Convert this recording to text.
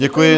Děkuji.